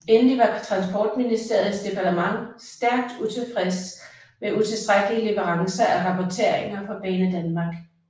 Endeligt var Transportministeriets departement stærkt utilfreds med utilstrækkelige leverancer af rapporteringer fra Banedanmark